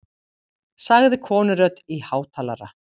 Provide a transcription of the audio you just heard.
sagði konurödd í hátalara.